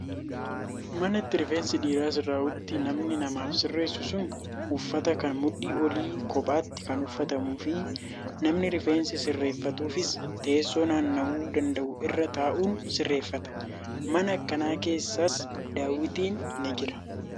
Mana itti rifeensi dhiiraa sirraa'utti namni namaaf sirreessu sun uffata kan mudhii olii kophaatti kan uffatamuu fi namni rifeensi sirratuufis teessoo naanna'uu danda'u irra taa'uun sirreeffata. Mana akkanaa keessas daawwitiin ni jira.